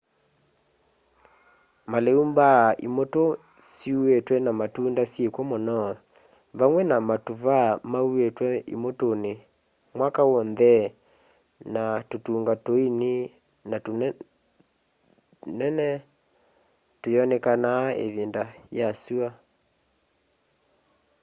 malĩu mbaa imutũ syuĩtwe na matunda syĩkw'o mũno vamwe na matũvaa mauĩtwe imutũnĩ mwaka w'onthe na tũtunga tũini na tũtune tũyonekana ĩvindanĩ ya syũa